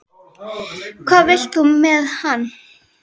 Hvað vilt þú með hann?